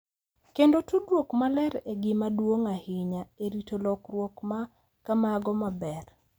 Kendo tudruok maler en gima duong’ ahinya e rito lokruok ma kamago maber.